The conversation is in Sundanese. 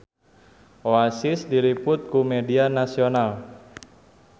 Oasis diliput ku media nasional